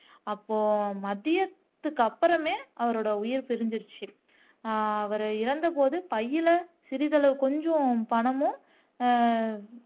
அப்போ மதியத்துக்கு அப்புறமே அவரோட உயிர் பிரிஞ்சிருச்சு ஆஹ் அவர் இறந்த போது பையில சிறிதளவு கொஞ்சம் பணமும் அஹ்